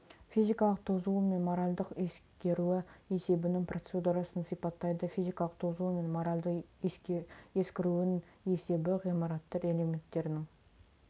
физикалық тозуы мен моральдық ескіруі есебінің процедурасын сипаттайды физикалық тозуы мен моральды ескіруін есебі ғимараттар элементтерінің